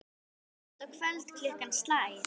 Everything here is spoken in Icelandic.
Hátt að kvöldi klukkan slær.